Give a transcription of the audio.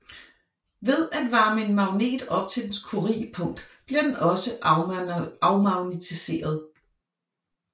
Ved at varme en magnet op til dens curiepunkt bliver den også afmagnetiseret